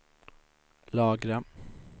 lagra